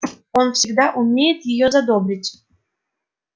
он всегда умеет её задобрить